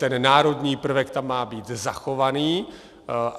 Ten národní prvek tam má být zachovaný.